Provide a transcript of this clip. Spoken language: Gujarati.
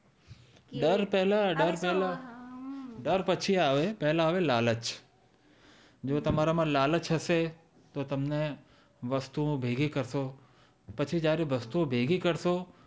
ડર પેલા ડર પેલા ડર પછી આવે પેલા લાલચ જો તમારા માં લાલચ હશે તો તમને વસ્તુ નો વિવેક હતો પછી જયારે વસ્તુ ઓ ભેગી કરતો